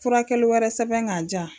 Furakɛli wɛrɛ sɛbɛn k'a jiyan.